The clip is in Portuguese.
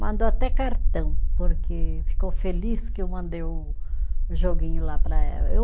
Mandou até cartão, porque ficou feliz que eu mandei o o joguinho lá para ela, eu